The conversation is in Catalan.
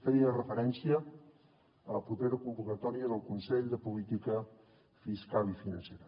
feia referència a la propera convocatòria del consell de política fiscal i financera